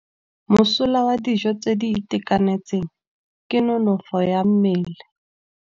Mosola wa dijô tse di itekanetseng ke nonôfô ya mmele.